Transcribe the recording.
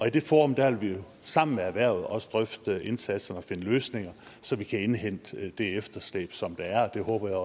i det forum vil vi sammen med erhvervet også drøfte indsatser og finde løsninger så vi kan indhente det efterslæb som der er og det håber jeg